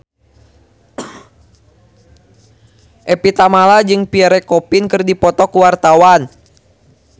Evie Tamala jeung Pierre Coffin keur dipoto ku wartawan